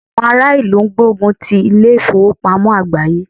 Àwọn ará ìlú ń gbógun ti ilé ìfowópamọ́ àgbááyé